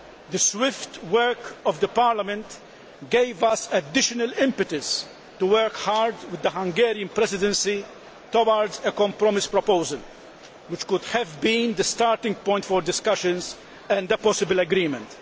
The swift work of Parliament gave us additional impetus to work hard with the Hungarian Presidency towards a compromise proposal which could have been the starting point for discussions and a possible agreement.